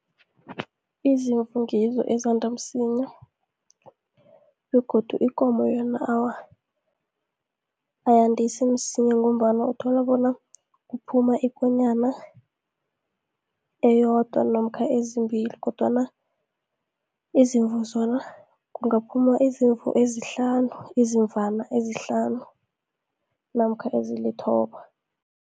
Izimvu ngizo ezanda msinya begodu ikomo yona awa, ayandisi msinya ngombana uthola bona kuphuma ikonyana eyodwa namkha ezimbili. Kodwana izimvu zona kungaphuma izimvu ezihlanu, izimvana ezihlanu namkha ezilithoba.